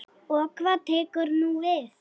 Og hvað tekur nú við?